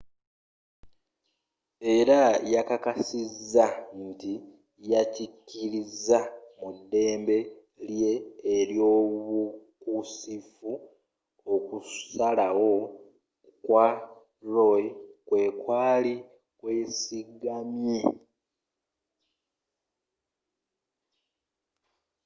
era yakkakkasizza nti yakkiririza mu ddembe lye ely'obukusifu okusalawo kwa roe kwekwaali kwesigamye